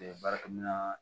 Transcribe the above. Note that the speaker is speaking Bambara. baarakɛminɛn